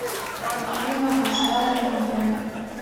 афина ашари медиа